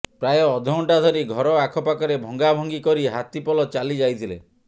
ପ୍ରାୟ ଅଧଘଣ୍ଟା ଧରି ଘର ଆଖପାଖରେ ଭଙ୍ଗାଭଙ୍ଗି କରି ହାତୀପଲ ଚାଲି ଯାଇଥିଲେ